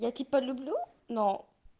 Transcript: я тебя люблю но